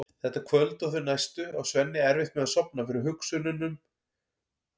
Þetta kvöld og þau næstu á Svenni erfitt með að sofna fyrir hugsunum um